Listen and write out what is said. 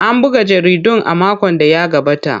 An buga jaridun a makon da ya gabata.